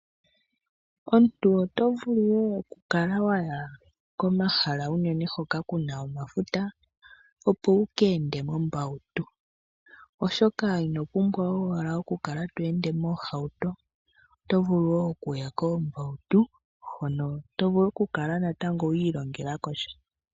Omuntu otovulu wo okukala waya komahala uunene hoka kuna omafuta opo wuka ende mombautu oshoka inopumbwa owala okukala to ende moohauto, oto vulu wo okuya koombautu hono tovulu okukala natango wiilongelako sha.